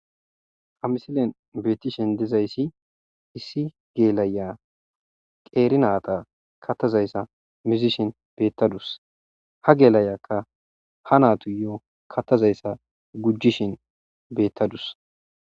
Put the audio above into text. Ha misiliyan betishe dizayisi issi gela'iya qeri nayita kathazayissa muzishin betadusi. Ha gelayika ha natusi kathazayisa gujishin betadus